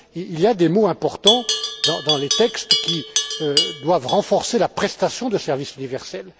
il y a des mots importants dans les textes qui doivent renforcer la prestation de service universel.